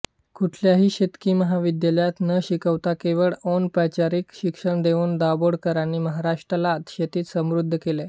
कुठल्याही शेतकी महाविद्यालयात न शिकवता केवळ अनौपचारिक शिक्षण देऊन दाभोळकरांनी महाराष्ट्राला शेतीत समृद्ध केले